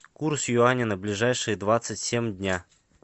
курс юаня на ближайшие двадцать семь дня